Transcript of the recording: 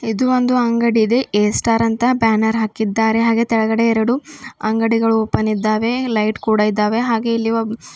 ಇದು ಒಂದು ಅಂಗಡಿ ಇದೆ ಎ ಸ್ಟಾರ್ ಅಂತ ಬ್ಯಾನರ್ ಹಾಕಿದ್ದಾರೆ ಹಾಗೆ ಕೆಳಗಡೆ ಎರಡು ಅಂಗಡಿಗಳು ಓಪನ್ ಇದ್ದಾವೆ ಲೈಟ್ ಕೂಡ ಇದ್ದಾವೆ ಹಾಗೇ ಇಲ್ಲಿ ಒಬ್--